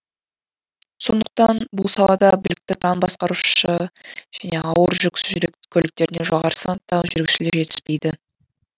сондықтан бұл салада білікті кран басқарушы және ауыр жүк көліктеріне жоғары санаттағы жүргізушілер жетіспейді